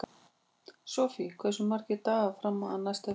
Sofie, hversu margir dagar fram að næsta fríi?